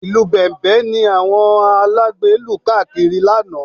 Ìlù Bẹ̀m̀bẹ̀ ni àwọn alágbe lù káàkiri lánàá